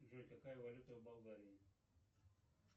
джой какая валюта в болгарии